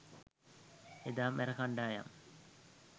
එදා මැර කණ්ඩායම්